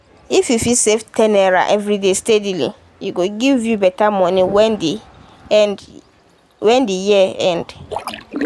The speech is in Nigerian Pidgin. if you fit save ten naira everyday steadily e go give you better money when the end when the year end.